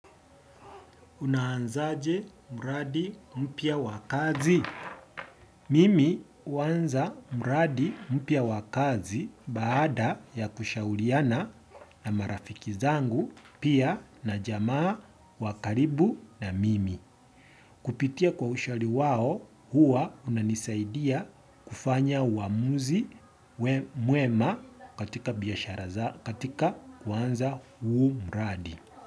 Unaanzaje mradi mpya wa kazi. Mimi kuanza mraadi mpya wa kazi baada ya kushauliana na marafiki zangu pia na jamaa wakaribu na mimi. Kupitia kwa ushauri wao huwa unanisaidia kufanya uamuzi mwema katika kwanza huu mraadi.